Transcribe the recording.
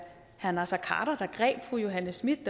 herre naser khader der greb fru johanne schmidt